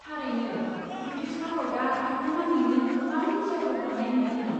थारैनो। ब्रिटिश भारतआ हादोरनाङैनो गोबां गिर्जाफोर लुनाय नुदोंमोन।